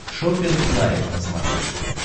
шоппинг лайв на смотрешке